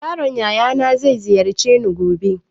My nephew said he will visit me tomorrow.